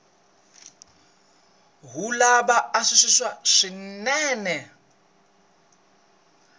wu lava ku antswisiwa swinene